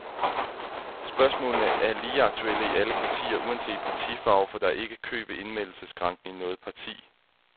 Spørgsmålene er lige aktuelle i alle partier uanset partifarve, for der er ikke kø ved indmeldelsesskranken i noget parti.